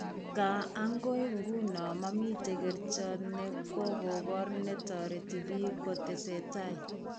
Nkaa, ang'oi ng'uno mamiten kerchot ne kokobor ne toreti biik kotesetai.